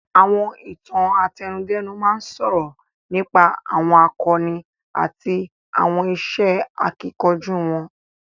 Àwọn Ìtàn àtẹnudẹ́nu máa ń sọ̀rọ̀ nípa àwọn àkọni àti àwọn iṣẹ́ akíkanjú wọn